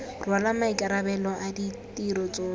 rwala maikarabelo a ditiro tsotlhe